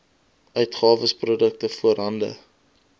uitgawes produkte voorhande